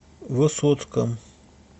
высоцком